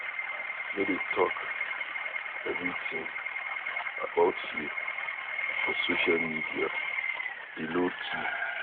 No go dey talk everything about you for social media dey low key.